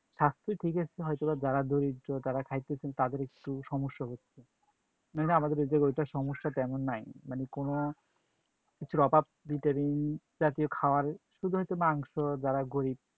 থাকতো, ঠিক আছে হয়তোবা যারা দরিদ্র তারা খাইতেছেন তাদের একটু সমস্যা হচ্ছে। মানে আমাদের ঐ জায়গায় ঐটার সমস্যা তেমন নাই। মানে কোনো কিছুর অভাব vitamin জাতীয় খাওয়ার, শুধু একটু মাংস যারা গরীব